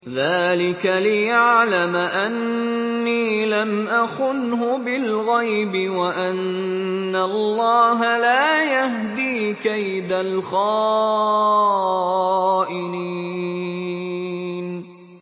ذَٰلِكَ لِيَعْلَمَ أَنِّي لَمْ أَخُنْهُ بِالْغَيْبِ وَأَنَّ اللَّهَ لَا يَهْدِي كَيْدَ الْخَائِنِينَ